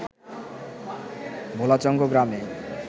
ভোলাচঙ্গ গ্রামে